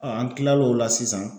an kila l'o la sisan